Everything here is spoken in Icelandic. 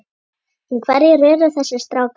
En hverjir eru þessir strákar?